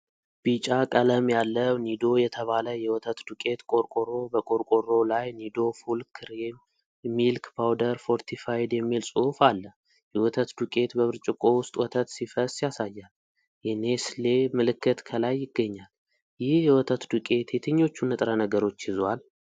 ቢጫ ቀለም ያለው ኒዶ የተባለ የወተት ዱቄት ቆርቆሮ። በቆርቆሮው ላይ ኒዶ ፉል ክሪም ሚልክ ፓውደር ፎርቲፋይድ የሚል ጽሑፍ አለ። የወተት ዱቄት በብርጭቆ ውስጥ ወተት ሲፈስ ያሳያል። የኔስሌ ምልክት ከላይ ይገኛል። ይህ የወተት ዱቄት የትኞቹን ንጥረ ነገሮች ይዟል?